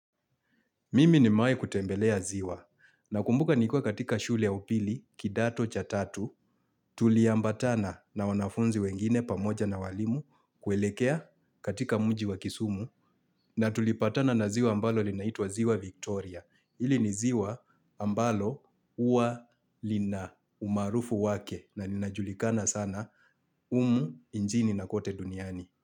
Mimi nimewai kutembelea ziwa nakumbuka nikiwa katika shule ya upili kidato cha tatu Tuli ambatana na wanafunzi wengine pamoja na walimu kuelekea katika mji wa kisumu na tulipatana na ziwa ambalo linaitwa ziwa Victoria ili ni ziwa ambalo uwa lina umarufu wake na linajulikana sana umu injini na kwote duniani.